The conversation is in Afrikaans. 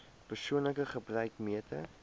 persoonlike gebruik meter